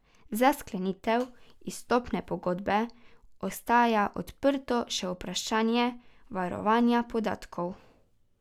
Za sklenitev izstopne pogodbe ostaja odprto še vprašanje varovanja podatkov.